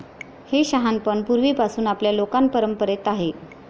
हे शहाणपण पूर्वीपासून आपल्या लोकपरंपरेत आहे.